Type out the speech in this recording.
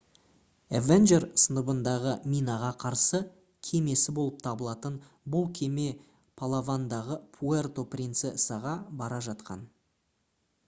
avenger сыныбындағы минаға қарсы кемесі болып табылатын бұл кеме палавандағы пуэрто принцесаға бара жатқан